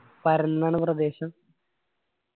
പരന്നാണ് പ്രദേശം.